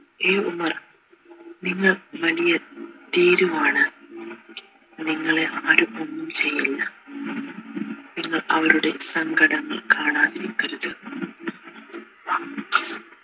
ഏയ് ഉമർ നിങ്ങൾ വലിയ ഭീരുവാണ് നിങ്ങളെ ആരും ഒന്നും ചെയ്യില്ല നിങ്ങൾ അവരുടെ സങ്കടം കാണാതിരിക്കരുത്